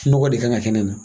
Nɔgɔ de kan ka kɛ nin na.